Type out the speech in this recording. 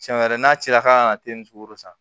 Tiɲɛ wɛrɛ n'a cira k'a na te nin sugu la sisan